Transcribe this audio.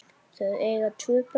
Þau eiga tvö börn